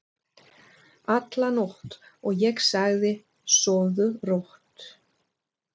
alla nótt, og ég sagði: Sofðu rótt.